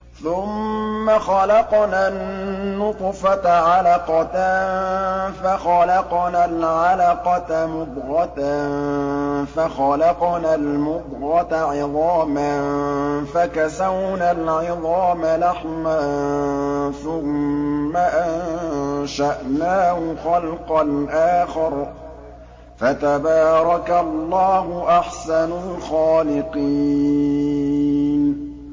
ثُمَّ خَلَقْنَا النُّطْفَةَ عَلَقَةً فَخَلَقْنَا الْعَلَقَةَ مُضْغَةً فَخَلَقْنَا الْمُضْغَةَ عِظَامًا فَكَسَوْنَا الْعِظَامَ لَحْمًا ثُمَّ أَنشَأْنَاهُ خَلْقًا آخَرَ ۚ فَتَبَارَكَ اللَّهُ أَحْسَنُ الْخَالِقِينَ